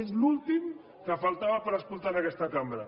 és l’últim que faltava per escoltar en aquesta cambra